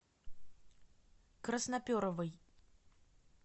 красноперовой